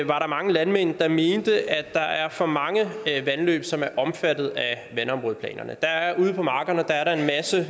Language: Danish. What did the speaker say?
var der mange landmænd der mente at der er for mange vandløb som er omfattet af vandområdeplanerne ude på markerne er der en masse